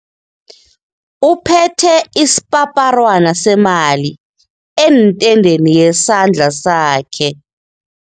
Uphethe isipaparwana semali entendeni yasandla sakhe.